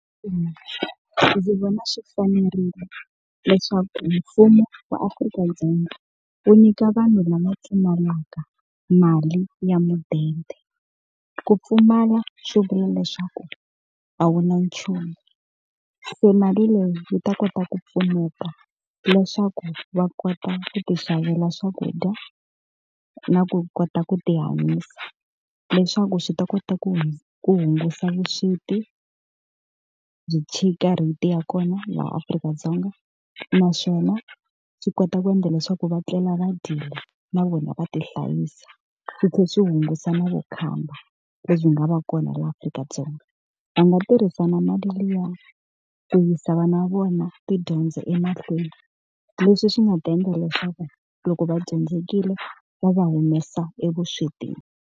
Mina ndzi vona swi fanerile leswaku mfumo wa Afrika-Dzonga wu nyika vanhu lava pfumalaka mali ya mudende. Ku pfumala swi vula leswaku a wu na nchumu, se mali leyi yi ta kota ku pfuneta leswaku va kota ku tixavela swakudya na ku kota ku ti hanyisa. Leswaku swi ta kota ku ku hunguta vusweti byi rate ya kona laha Afrika-Dzonga. Naswona swi kota ku endla leswaku va tlela va dyile na vona va tihlayisa, swi tlhela swi hungusa na vukhamba lebyi nga va kona na laha Afrika-Dzonga. Va nga tirhisa na mali liya ku yisa vana va vona tidyondzo emahlweni, leswi swi nga ta endla leswaku loko va dyondzekile va va humesa evuswetini.